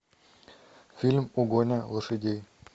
фильм угоня лошадей